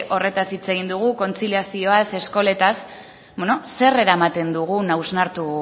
horretaz hitz egin dugu kontziliazioaz eskoletaz bueno zer eramaten dugun hausnartu